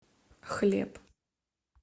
хлеб